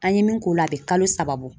An ye min k'o la a be kalo saba bɔ.